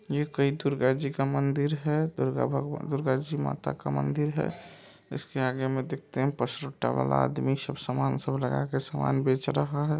ये कोई दुर्गा जी का मंदिर है दुर्गा भगवान-दुर्गा जी माता का मंदिर है इसके आगे मे देखते है पसरुट्टा वाला आदमी सब समान सब लगा के समान बेच रहा है ।